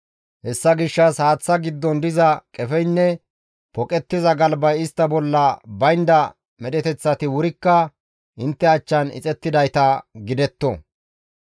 Hessa gishshas haaththa giddon diza qefeynne poqettiza galbay istta bolla baynda medheteththati wurikka intte achchan ixettidayta gidetto.